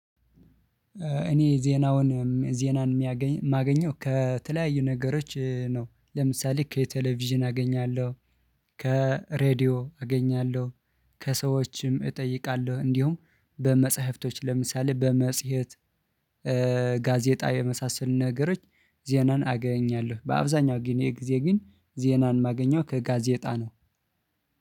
እኔ ዜናውን ዜናን የማገኘው ከተለያዩ ነገሮች ነው። ለምሳሌ ከቴሌቪዥን አገኛለሁ። ከሬድዮ አገኛለሁ። ከሰዎችም እጠይቃለሁ እንዲሁም በመጽሐፍቶች ለምሳሌ በመጽሔት። ጋዜጣ የመሳሰል ነገሮች ዜናን አገኛለሁ። በአብዛኛው ጊዜ ግን ዜናን የማገኘው ከጋዜጣ ነው